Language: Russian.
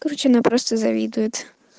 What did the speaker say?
короче она просто завидует